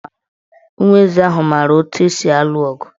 Ụmụ eze ahụ maara etu esi alụ ọgụ.